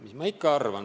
Mis ma ikka arvan?